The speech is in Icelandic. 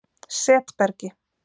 Setbergi